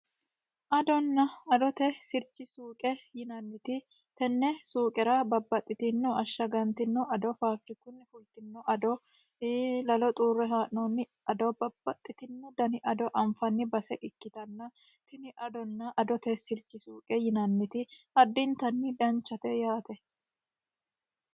Adona adote sirchi suuqe yinanniti tenne suuqera babbaxitino ashagantino ado, fafirikunni fultinno ado, lalo xuurre haa'noonni ado, babbaxitino dani ado anfanniwa base ikkitanna tini adona adote sirchi suuqe yinanniti addintanni danchate yaate.